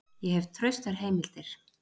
Ég hef traustar heimildir.